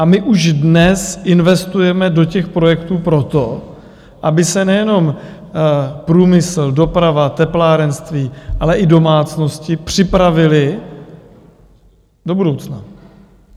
A my už dnes investujeme do těch projektů proto, aby se nejenom průmysl, doprava, teplárenství, ale i domácnosti připravily do budoucna.